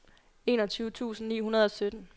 enogtyve tusind ni hundrede og sytten